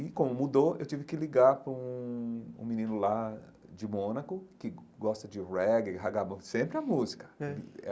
E como mudou, eu tive que ligar para um um menino lá de Mônaco, que gosta de reggae, raggamuffin, sempre a música hum.